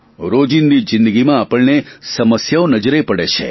રોજિંદી જિંદગીમાં આપણને સમસ્યાઓ નજરે પડે છે